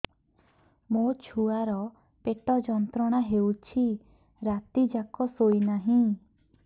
ମୋ ଛୁଆର ପେଟ ଯନ୍ତ୍ରଣା ହେଉଛି ରାତି ଯାକ ଶୋଇନାହିଁ